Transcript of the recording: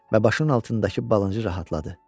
Və başının altındakı balıncı rahatladı.